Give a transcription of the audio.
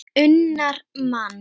unnar mann.